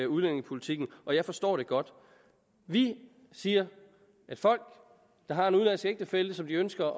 udlændingepolitikken og jeg forstår det godt vi siger at folk der har en udenlandsk ægtefælle som de ønsker